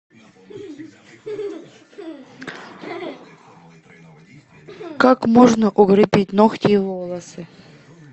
как можно укрепить ногти и волосы